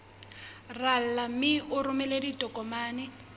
rala mme o romele ditokomene